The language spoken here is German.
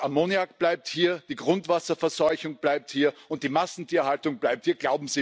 Das Ammoniak bleibt hier, die Grundwasserverseuchung bleibt hier und die Massentierhaltung bleibt hier.